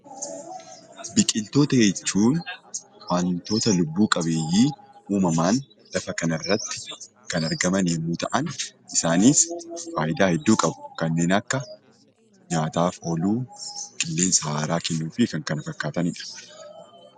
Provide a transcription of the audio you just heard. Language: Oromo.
Biqiltoota jechuun wantoota lubbu qabeeyyii uumamaan lafa kanarratti kan argaman yommuu ta'an, isaanis faayidaa hedduu qabu kanneen akka nyaataaf ooluu, qilleensa haaraa kennuu fi kan kana fakkaatanidha.